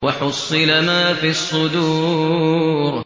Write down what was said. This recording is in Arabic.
وَحُصِّلَ مَا فِي الصُّدُورِ